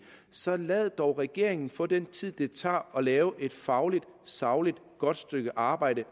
så lad dog regeringen få den tid det tager at lave et fagligt sagligt og godt stykke arbejde